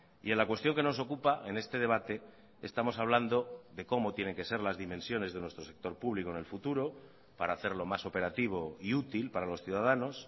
y en la cuestión que nos ocupa en este debate estamos hablando de cómo tienen que ser las dimensiones de nuestro sector público en el futuro para hacerlo más operativo y útil para los ciudadanos